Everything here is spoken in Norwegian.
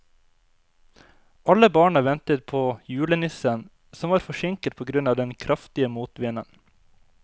Alle barna ventet på julenissen, som var forsinket på grunn av den kraftige motvinden.